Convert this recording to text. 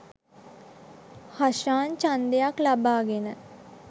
හෂාන් ඡන්දක් ලබාගෙන